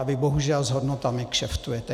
A vy bohužel s hodnotami kšeftujete.